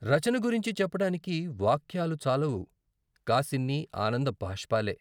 రచన గురించి చెప్పడానికి వాక్యాలు చాలవు కాసిన్ని ఆనంద బాష్పాలే.....